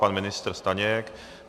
Pan ministr Staněk?